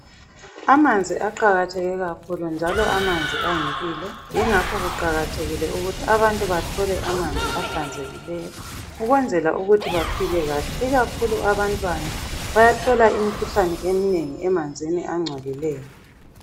Amanzi aqakatheke kakhulu empilweni njalo amanzi ayimpilo yingakho kuqakathekile ukuthi abantu bathole amanzi ahlanzekileyo ukwenzela ukuthi baphile kahle ikakhulu abantwana bayathola imikhuhlane eminengi emanzini angcolileyo.